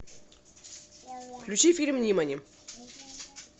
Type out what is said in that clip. включи фильм нимани